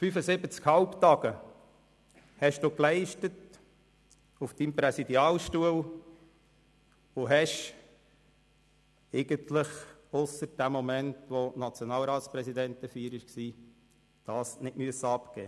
75 Halbtage leisteten Sie auf Ihrem Präsidialstuhl und haben diesen eigentlich, ausser für den Moment der Nationalratspräsidentenfeier, nicht abgeben müssen.